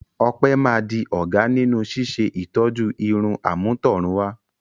Ope máa di ọ̀gá nínú ṣíṣe ìtọ́jú irun àmútọ̀runwá.